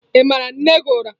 Ị mara nne gị ụra?